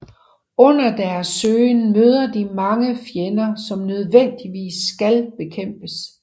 Under deres søgen møder de mange fjender som nødvendigvis skal bekæmpes